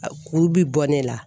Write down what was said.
Kuru bi bɔ ne la.